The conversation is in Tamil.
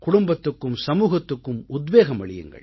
குடும்பத்துக்கும் சமூகத்துக்கும் உத்வேகம் அளியுங்கள்